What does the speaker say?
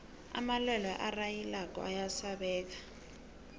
amalwelwe arhayilako ayasabeka